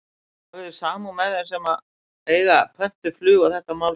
Hafi þið samúð með þeim sem að eiga pöntuð flug og þetta mál snertir?